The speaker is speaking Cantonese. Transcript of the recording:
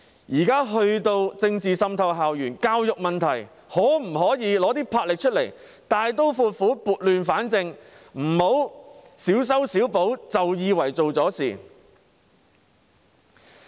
現時政治滲透校園，就教育問題，政府可否拿出魄力，大刀闊斧，撥亂反正，不要小修小補便以為做了事？